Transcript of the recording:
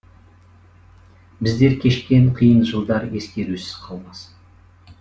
біздер кешкен қиын жылдар ескерусіз қалмасын